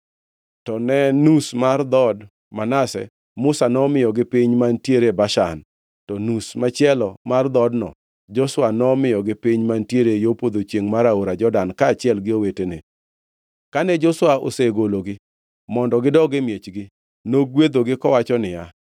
To ne nus mar dhood Manase, Musa nomiyogi piny mantiere Bashan, to nus machielo mar dhoodno, Joshua nomiyogi piny mantiere yo podho chiengʼ mar aora Jordan kaachiel gi owetene. Kane Joshua osegologi mondo gidog e miechgi, nogwedhogi kowacho niya,